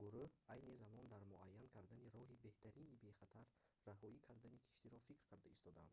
гуруҳ айни замон дар муайян кардани роҳи беҳтарини бехатар раҳоӣ кардани киштиро фикр карда истодаанд